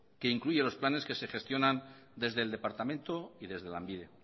que incluye los planes que se gestionan desde el departamento y desde lanbide